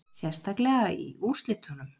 Sérstaklega í úrslitunum